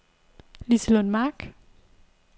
Liselund Mark